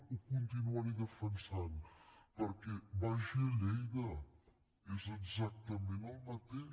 ho continuaré defensat perquè vagi a lleida és exactament el mateix